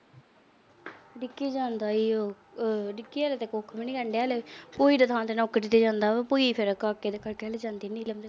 ਰਿੱਕੀ ਜਾਂਦਾ ਏ ਓ ਰਿੱਕੀ ਆਲੇ ਤਾਂ ਉਹੀ ਤਾਂ ਨੌਕਰੀ ਤੇ ਜਾਂਦਾ ਉਹ। ਭੁਈ ਸਾਰਾ ਕਾਕੇ ਦੇ ਨੀਲਮ ਦੇ ਕਰਕੇ।